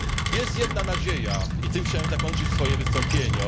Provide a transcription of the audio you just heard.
Jest jedna nadzieja i tym chciałem zakończyć swoje wystąpienie.